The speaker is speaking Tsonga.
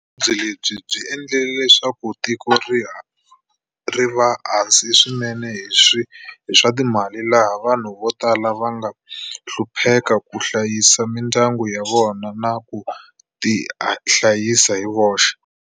Vuvabyi lebi byi endlile leswaku tiko ri va hansi swinene hi swa ti mali laha vanhu vo tala van ga hlupheka ku hlayisa mindyangu ya vona na ku tihlayisa hi voxe.